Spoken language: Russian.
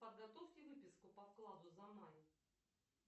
подготовьте выписку по вкладу за май